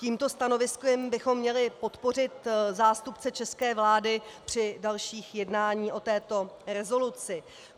Tímto stanoviskem bychom měli podpořit zástupce české vlády při dalších jednáních o této rezoluci.